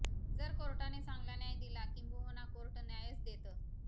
जर कोर्टाने चांगला न्याय दिला किंबहुना कोर्ट न्यायच देतं